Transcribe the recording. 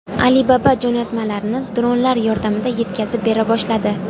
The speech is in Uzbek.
Alibaba jo‘natmalarni dronlar yordamida yetkazib bera boshladi.